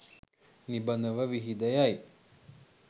නිබඳව විහිද යයි.